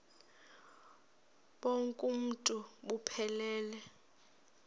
bonk uuntu buphelele